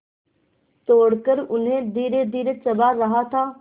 तोड़कर उन्हें धीरेधीरे चबा रहा था